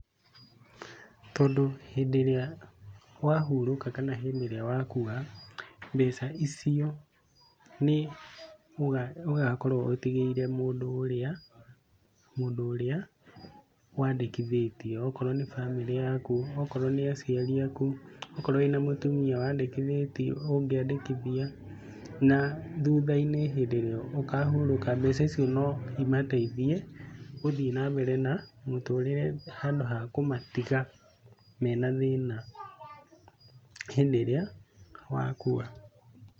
Tondũ hĩndĩ ĩrĩa wahurũka kana hĩndĩ ĩrĩa wakua, mbeca icio nĩ ũgakorwo ũtigĩire mũndu ũrĩa, mũndũ ũrĩa wandĩkithĩtie, okorwo nĩ bamĩrĩ yaku okorwo nĩ aciari aku, okorwo wĩna mũtumia wandikithĩtie, ũngĩandĩkithia. Na thutha-inĩ hindĩ ĩrĩa ũkahurũka mbeca icio no imateithie gũthiĩ na mbere na mũtũrĩre handũ ha kũmatiga mena thĩna hĩndĩ ĩrĩa wakua.